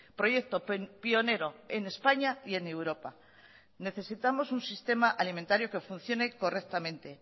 proyecto pionero en españa y en europa necesitamos un sistema alimentario que funcione correctamente